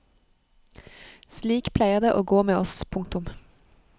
Slik pleier det å gå med oss. punktum